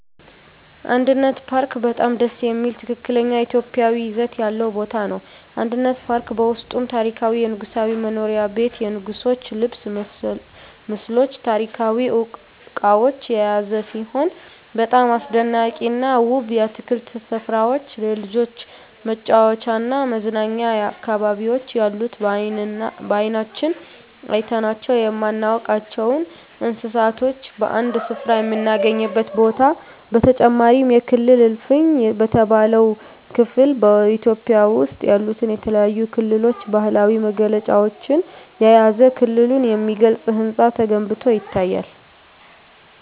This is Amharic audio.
አንድነት ፓርክ በጣም ደስ የሚል ትክክለኛ ኢትዮጵያዊ ይዘት ያለው ቦታ ነው። አንድነት ፓርክ በውስጡም ታሪካዊ የንጉሣዊ መኖሪያ ቤት የንጉሥች ልብስ ምስሎች ታሪካዊ እቃዎች የያዘ ሲሆን በጣም አስደናቂና ውብ የአትክልት ስፍራዎች የልጆች መጫወቻና መዝናኛ አካባቢዎች ያሉት በአይናችን አይተናቸው የማናውቃቸውን እንስሳቶች በአንድ ስፍራ የምናገኝበት ቦታ በተጨማሪም የክልል እልፍኝ በተባለው ክፍል በኢትዮጵያ ውስጥ ያሉትን የተለያዩ ክልሎች ባህላዊ መገለጫዎችን የያዘ ክልሉን የሚገልጽ ህንፃ ተገንብቶ ይገኛል።